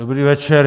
Dobrý večer.